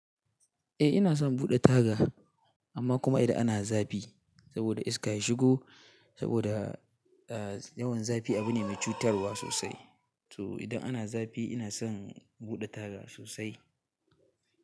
Eh ina son buɗe taga amma kuma idan ana zafi saboda iska ya shigo saboda yawan zafi abu ne mai cutarwa sosai to idan ana zafi ina son buɗe taga sosai.